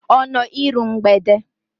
Ọ nọ iru mgbede?